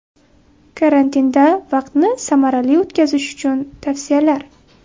Karantinda vaqtni samarali o‘tkazish uchun tavsiyalar.